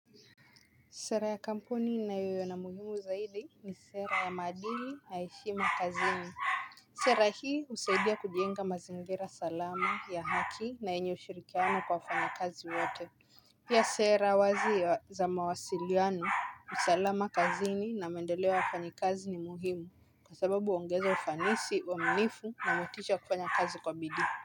Sera ya kampuni na yo ya na muhimu zaidi ni sera ya maadili na heshima kazini. Sera hii husaidia kujenga mazingira salama ya haki na yenye ushirikiano kwa wafanya kazi wote. Pia sera wazi za mawasiliano, usalama kazini na maendeleo wafanyi kazi ni muhimu kwa sababu huongeza ufanisi, waaminifu na motisha ya kufanya kazi kwa bidii.